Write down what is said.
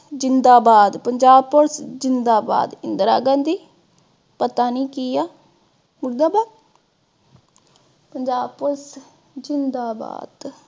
ਜ਼ਿੰਦਾਬਾਦ, ਪੰਜਾਬ police ਜਿੰਦਾਬਾਦ, ਇੰਦਰਾ ਗਾਂਧੀ ਪਤਾ ਨੀ ਕੀ ਆ ਮੁਰਦਾਬਾਦ। ਪੰਜਾਬ police ਜ਼ਿੰਦਾਬਾਦ